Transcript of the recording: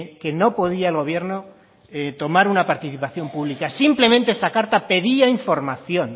que no podía el gobierno tomar una participación pública simplemente esta carta pedía información